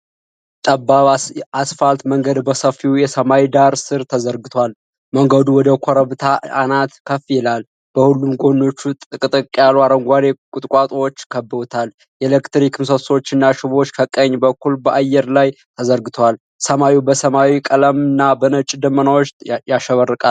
ጠባብ አስፋልት መንገድ በሰፊው የሰማይ ዳራ ስር ተዘርግቷል። መንገዱ ወደ ኮረብታ አናት ከፍ ይላል፤ በሁለቱም ጎኖች ጥቅጥቅ ያሉ አረንጓዴ ቁጥቋጦዎች ከበውታል። የኤሌክትሪክ ምሰሶዎችና ሽቦዎች ከቀኝ በኩል በአየር ላይ ተዘርግተዋል። ሰማዩ በሰማያዊ ቀለምና በነጭ ደመናዎች ያሸበርቃል።